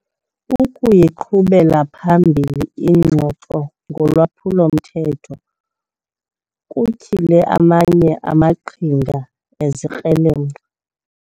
Ukuyiqhubela phambili ingxoxo ngolwaphulo-mthetho kutyhile amanye amaqhinga ezikrelemnqa.